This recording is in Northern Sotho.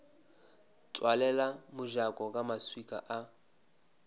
tswalela mojako ka maswika a